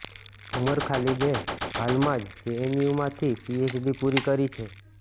ઉમર ખાલિદે હાલમાં જ જેએનયુમાંથી પીએચડી પૂરી કરી છે